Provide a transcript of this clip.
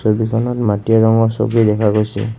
ছবিখনত মাটীয়া ৰঙৰ ছবি দেখা গৈছে।